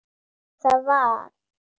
Hvað sem það var.